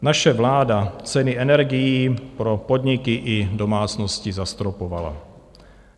Naše vláda ceny energií pro podniky i domácnosti zastropovala.